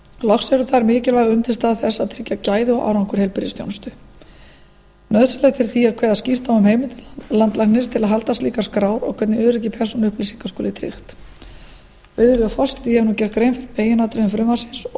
loks eru þær mikilvæg undirstaða þess að tryggja gæði og árangur heilbrigðisþjónustu nauðsynlegt er því að kveða skýrt á um heimildir landlæknis til að halda slíkar skrár og hvernig öryggi persónuupplýsinga skuli tryggt virðulegi forseti ég hef nú gert grein fyrir meginatriðum frumvarpsins